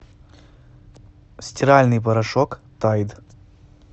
стиральный порошок тайд